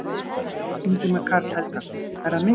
Ingimar Karl Helgason: Er það mikið?